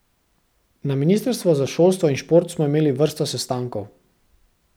Na ministrstvu za šolstvo in šport smo imeli vrsto sestankov.